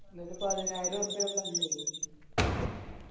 എന്നിട്ട് പതിനായിറുപ്പിയ fine ഇടു